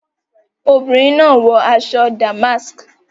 Fadeke is wearing a golden wristwatch